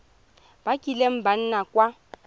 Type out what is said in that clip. ba kileng ba nna kwa